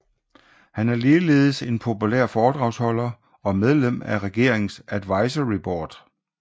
Han er ligeledes en populær foredragsholder og medlem af regeringens advisory board